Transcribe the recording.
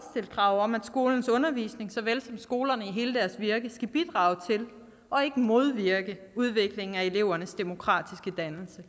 krav om at skolernes undervisning såvel som skolerne i hele deres virke skal bidrage til og ikke modvirke udviklingen af elevernes demokratiske dannelse